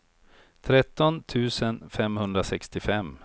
tretton tusen femhundrasextiofem